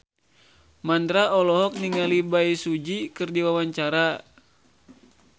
Mandra olohok ningali Bae Su Ji keur diwawancara